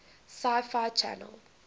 sci fi channel